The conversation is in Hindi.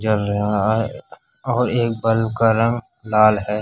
और एक बल का रंग लाल है